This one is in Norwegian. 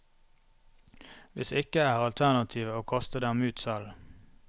Hvis ikke er alternativet å kaste dem ut selv.